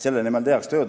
Selle nimel tehakse tööd.